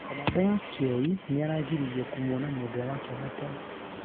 kamande wa kioi nĩaragiririo 'kumwona' mwendwa wake wa tene.